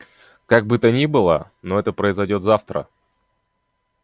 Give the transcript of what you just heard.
как бы то ни было но это произойдёт завтра